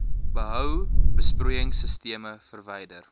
behou besproeiingsisteme verwyder